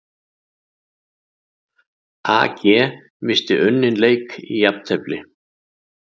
AG missti unninn leik í jafntefli